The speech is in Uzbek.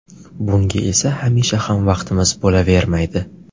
Bunga esa hamisha ham vaqtimiz bo‘lavermaydi.